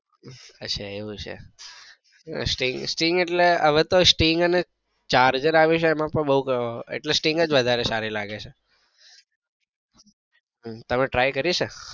અચ્છા એવું છે string એટલે હવે તો string અને charge up આવ્યું છે એમાં પણ બઉ string જ વધારે સારી લાગે છે તમે try કરી છે?